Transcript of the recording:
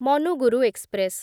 Manuguru express